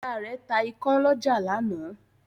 Ìyá rẹ̀ ta ikán lọ́jà lánàá.